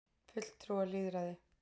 fulltrúalýðræði